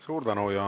Suur tänu!